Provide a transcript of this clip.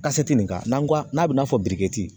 nin kan n'an ko n k'a n'a bi n'a fɔ